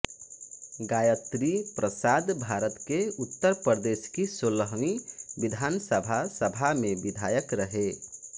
गायत्री प्रसादभारत के उत्तर प्रदेश की सोलहवीं विधानसभा सभा में विधायक रहे